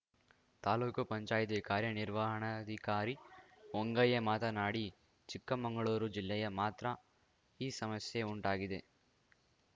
ತಾಲೂಕು ಪಂಚಾಯಿತಿ ಕಾರ್ಯನಿರ್ವಹಣಾಧಿಕಾರಿ ಹೊಂಗಯ್ಯ ಮಾತನಾಡಿ ಚಿಕ್ಕಮಂಗಳೂರು ಜಿಲ್ಲೆಯ ಮಾತ್ರ ಈ ಸಮಸ್ಯೆ ಉಂಟಾಗಿದೆ